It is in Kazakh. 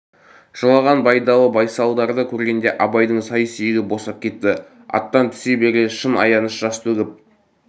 жылаған байдалы байсалдарды көргенде абайдың сай сүйегі босап кетті аттан түсе бере шын аяныш жас төгіп